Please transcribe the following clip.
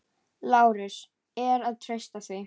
LÁRUS: Er að treysta því?